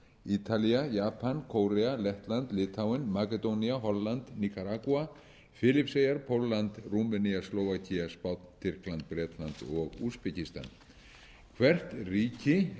ítalía japan kórea lettland litháen makedónía holland níkaragúa filippseyjar pólland rúmenía slóvakía spánn tyrkland bretland og úsbekistan hvert ríki